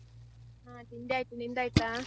ಹಾ ತಿಂಡಿ ಆಯ್ತು, ನಿಂದಾಯ್ತಾ?